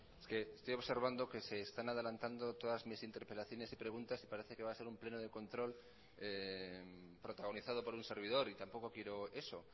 es que estoy observando que se están adelantando todas mis interpelaciones y preguntas y parece que va a ser un pleno de control protagonizado por un servidor y tampoco quiero eso